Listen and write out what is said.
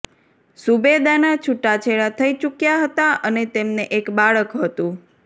ઝૂબેદાના છૂટાછેડા થઈ ચૂક્યા હતા અને તેમને એક બાળક હતુ